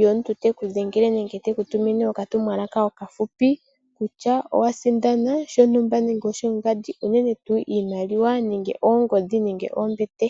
yomuntu teku dhengele nenge teku tumine oka tumwalaka okafupi, kutya owa sindana shontumba nenge shongandi, unene tu iimaliwa nenge oongodhi nenge oombete.